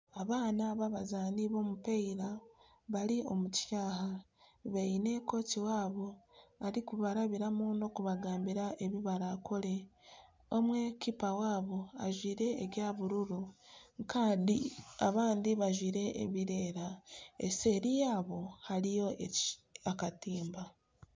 Abaana b'abazaani b'omupiira bari omu kishaayi baine kooki waabo arikubarabiramu n'okubagambira oku barakore, omwe kiipa waabo ajwire ebya bururu kandi abandi bajwire ebirikwera, eseeri yaabo hariyo akatimba